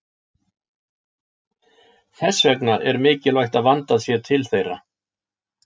Þess vegna er mikilvægt að vandað sé til þeirra.